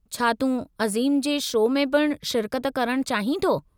छा तूं अज़ीम जे शौ में पिणु शिरकत करणु चाहीं थो?